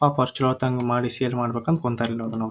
First ಹೇಳತೊಂಗ್ ಮಾಡ್ಸ ಈದ್ ಅನ್ಕೊಂತರ್ ಇದನೋ.